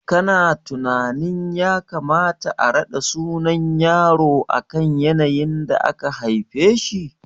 Kana tunanin ya kamata a raɗa sunan yaro akan yanayin da aka haife shi?